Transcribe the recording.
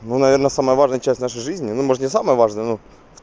ну наверное самая важная часть нашей жизни ну может не самая важная ну